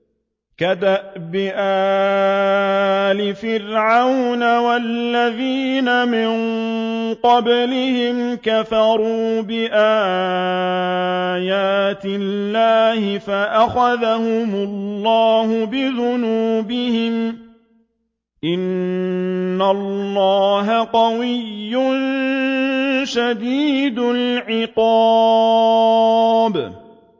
كَدَأْبِ آلِ فِرْعَوْنَ ۙ وَالَّذِينَ مِن قَبْلِهِمْ ۚ كَفَرُوا بِآيَاتِ اللَّهِ فَأَخَذَهُمُ اللَّهُ بِذُنُوبِهِمْ ۗ إِنَّ اللَّهَ قَوِيٌّ شَدِيدُ الْعِقَابِ